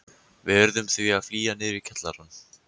Við urðum því að flýja niður í kjallarann.